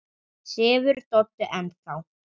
Sefur Doddi enn þá?